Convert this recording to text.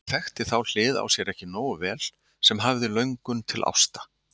Hún þekkti þá hlið á sér ekki nógu vel sem hafði löngun til ásta.